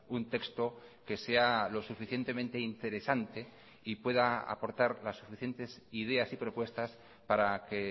un texto que sea lo suficientemente interesante y pueda aportar las suficientes ideas y propuestas para que